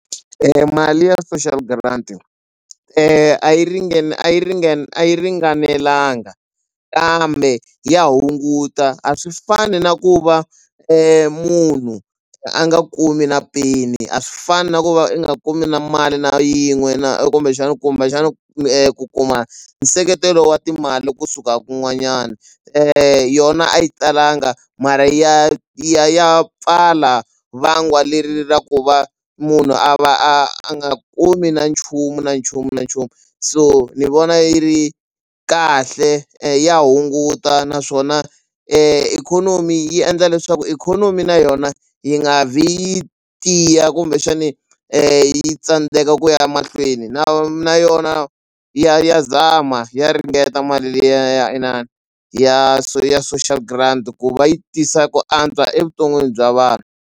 Mali ya social grant a yi a yi a yi ringanelanga kambe ya hunguta a swi fani na ku va munhu a nga kumi na peni a swi fani na ku va i nga kumi na mali na yin'we na kumbexani kumbexani ku kuma nseketelo wa timali kusuka kun'wanyana yona a yi talanga mara ya ya ya pfala vangwa leri ra ku va munhu a va a a nga kumi na nchumu na nchumu na nchumu so ni vona yi ri kahle ya hunguta naswona ikhonomi yi endla leswaku ikhonomi na yona yi nga vi tiya kumbexani yi tsandzeka ku ya mahlweni na na yona ya ya zama ya ringeta mali liya ya inana ya ya social grant ku va yi tisa ku antswa evuton'wini bya vanhu.